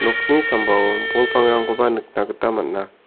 nokni sambao bol pangrangkoba nikna gita man·a.